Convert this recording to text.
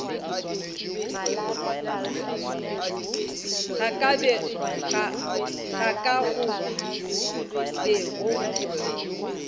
ga ka go be go